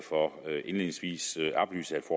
indledningsvis oplyse at